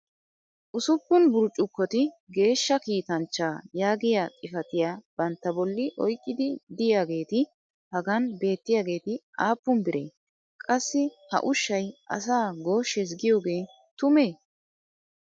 ussuppun burccukkoti geeshsha kiittanchchaa yaagiyaa xifattiya banta boli oyqqidi diyaageeti hagan beetiyaageeti aappun biree? qassi ha ushshay asaa gooshshees giyoogee tumee?